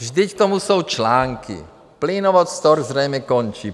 Vždyť k tomu jsou články: Plynovod Stork zřejmě končí.